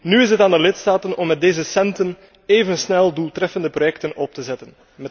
Nu is het aan de lidstaten om met deze centen even snel doeltreffende projecten op te zetten.